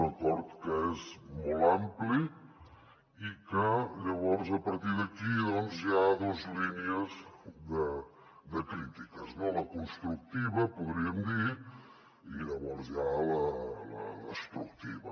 un acord que és molt ampli i que llavors a partir d’aquí hi ha dos línies de crítiques la constructiva podríem dir i llavors hi ha la destructiva